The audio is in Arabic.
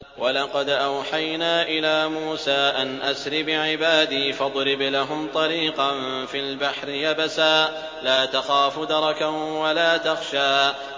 وَلَقَدْ أَوْحَيْنَا إِلَىٰ مُوسَىٰ أَنْ أَسْرِ بِعِبَادِي فَاضْرِبْ لَهُمْ طَرِيقًا فِي الْبَحْرِ يَبَسًا لَّا تَخَافُ دَرَكًا وَلَا تَخْشَىٰ